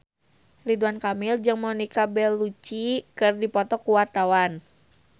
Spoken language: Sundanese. Ridwan Kamil jeung Monica Belluci keur dipoto ku wartawan